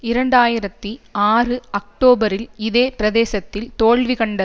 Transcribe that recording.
இரண்டு ஆயிரத்தி ஆறு அக்டோபரில் இதே பிரதேசத்தில் தோல்வி கண்ட